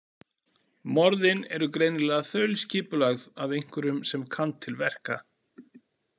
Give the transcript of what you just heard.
Morðin eru greinilega þaulskipulögð af einhverjum sem kann til verka.